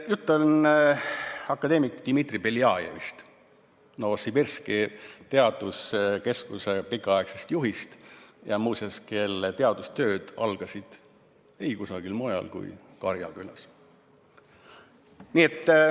" Jutt on akadeemik Dmitri Beljajevist, Novosibirski teaduskeskuse pikaaegsest juhist, muuseas, kelle teadustööd algasid ei kusagil mujal kui Karjakülas.